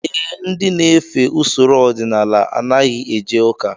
Ee, ndị na-efe usoro ọdịnala anaghị eje ụka